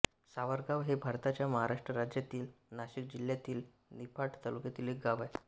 सावरगाव हे भारताच्या महाराष्ट्र राज्यातील नाशिक जिल्ह्यातील निफाड तालुक्यातील एक गाव आहे